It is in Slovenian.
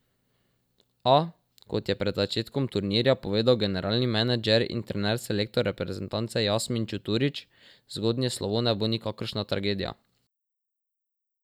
A, kot je pred začetkom turnirja povedal generalni menedžer in trener selektor reprezentance Jasmin Čuturić, zgodnje slovo ne bo nikakršna tragedija.